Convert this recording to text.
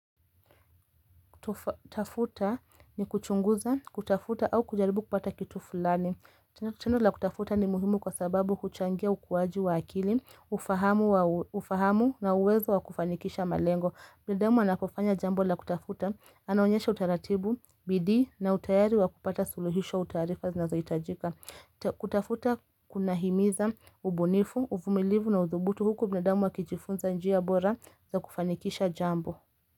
Kutafuta ni kuchunguza kutafuta au kujaribu kupata kitu fulani tendo la kutafuta ni muhimu kwa sababu huchangia ukuwaji wa akili ufahamu wa ufahamu na uwezo wa kufanikisha malengo binadamu anapofanya jambo la kutafuta Anaonyesha utaratibu, bidii na utayari wa kupata suluhisho wa taarifa zinazohitajika kutafuta kuna himiza ubunifu, uvumilivu na udhubutu huku binadamu wa kijifunza njia bora za kufanikisha jambo.